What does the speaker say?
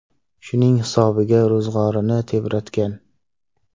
Shuning hisobiga ro‘zg‘orini tebratgan.